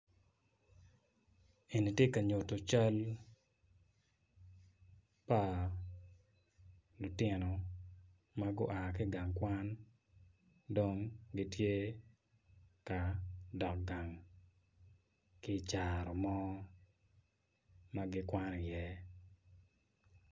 Eni tye ka nyuto cal pa lutino ma gua ki i gang kwan dong gitye ka dok gang ki i caro mo ma gikwano iye.